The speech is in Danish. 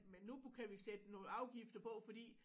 Men nu kan vi sætte nogle afgifter på fordi